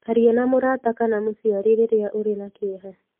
Aria na mũrata kana mũciari rĩrĩa ũrĩ na kĩeha.